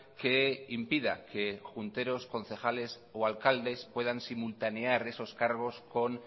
que impida que junteros concejales o alcaldes puedan simultanear esos cargos con